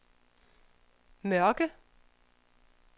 Mørke